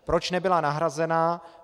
Proč nebyla nahrazena?